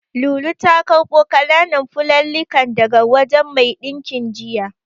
Lulu ta karɓo ƙananan fulallikan daga wajen mai ɗinkin jiya.